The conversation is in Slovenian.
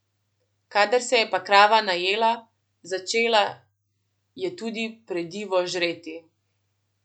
Kadar se je pa krava najela, začela je tudi predivo žreti.